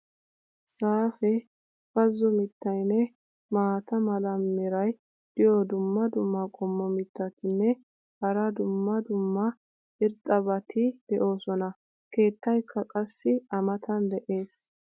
zaafee, bazzo mitaynne maata mala meray diyo dumma dumma qommo mitattinne hara dumma dumma irxxabati de'oosona. keettaykka qassi a matan de'ees.